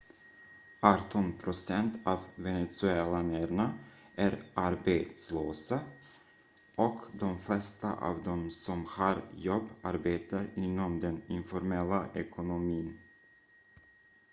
arton procent av venezuelanerna är arbetslösa och de flesta av de som har jobb arbetar inom den informella ekonomin